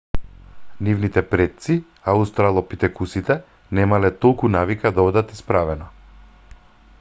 нивните предци аустралопитекусите немале толку навика да одат исправено